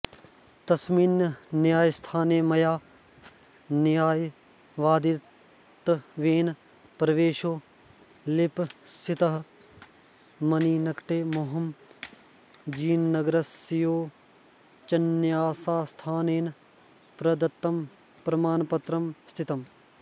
तस्मिन्न्यायस्थाने मया न्यायवादित्वेन प्रवेशो लिप्सितः मन्निकटे मोहमयीनगरस्योच्चन्यायस्थानेन प्रदत्तं प्रमाणपत्रं स्थितम्